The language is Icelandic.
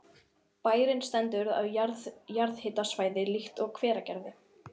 Bærinn stendur á jarðhitasvæði líkt og Hveragerði.